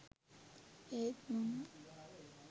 ඒත් මම